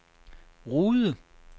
Rude